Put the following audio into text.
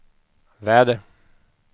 väder